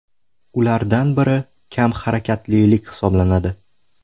Ulardan biri kam harakatlilik hisoblanadi.